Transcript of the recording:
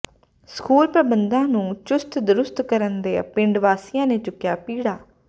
school ਪ੍ਰਬੰਧਾਂ ਨੂੰ ਚੁਸਤ ਦਰੁਸਤ ਕਰਨ ਦਾ ਪਿੰਡ ਵਾਸੀਆਂ ਨੇ ਚੁੱਕਿਆ ਬੀੜਾ